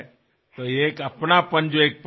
কিন্তু মই অতিশীঘ্ৰেই আপোনাৰ ওচৰলৈ যাম